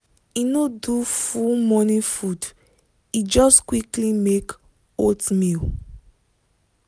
e no do full morning food e just quickly make oatmeal.